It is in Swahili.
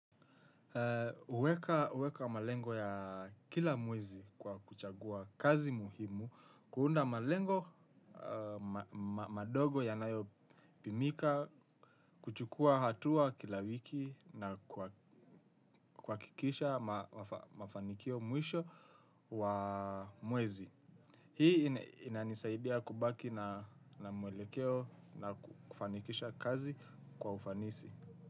Uweka malengo ya kila mwezi kwa kuchagua kazi muhimu, kuunda malengo madogo yanayo pimika, kuchukuwa hatua kila wiki na kuwakikisha mafanikio mwisho wa mwezi. Hii inanisaidia kubaki na mwelekeo na kufanikisha kazi kwa ufanisi.